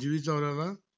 जुई चावला ला